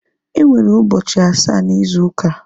Enwere ụbọchị asaa na ịzu uka